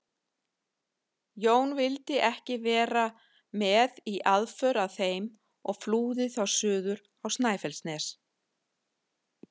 Jón vildi ekki vera með í aðför að þeim og flúði þá suður á Snæfellsnes.